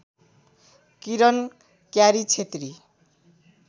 Kiran Kyari Chhetri